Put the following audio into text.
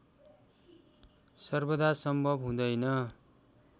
सर्वदा सम्भव हुँदैन